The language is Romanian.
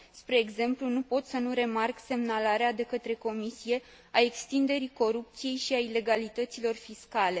Spre exemplu, nu pot să nu remarc semnalarea de către Comisie a extinderii corupției și a ilegalităților fiscale.